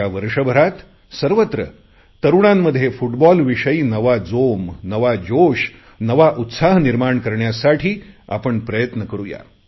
या वर्षभरात सर्वत्र तरुणांमध्ये फुटबॉलविषयी नवा जोम नवा जोश नवा उत्साह आपण निर्मााण करुया